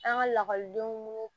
An ka lakɔlidenw